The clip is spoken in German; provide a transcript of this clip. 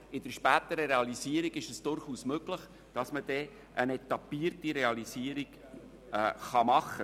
Aber in der späteren Realisierung ist es durchaus möglich, dass man eine etappierte Realisierung machen kann.